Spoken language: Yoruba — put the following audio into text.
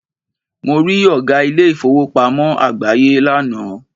Mo rí Ọ̀gá ilé ìfowópamọ́ àgbááyé lánàá